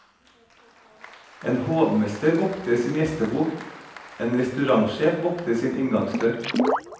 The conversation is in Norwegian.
En hovmester vokter sin gjestebok, en restaurantsjef vokter sin inngangsdør.